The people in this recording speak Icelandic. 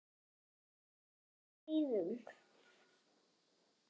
Hvaða aðstæður þurfa að vera til staðar til að dómari slíti leik?